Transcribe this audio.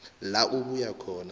la abuya khona